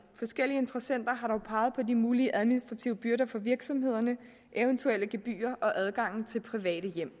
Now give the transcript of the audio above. forskellige interessenter har dog peget på de mulige administrative byrder for virksomhederne eventuelle gebyrer og adgangen til private hjem